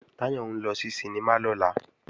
Táyọ̀ ń lọ sí sinimá lọ́la